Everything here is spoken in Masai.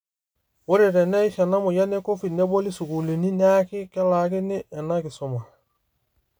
Ore teneish ena moyian eCovid neboli sukuulini, neaki kelaakini ena kisuma.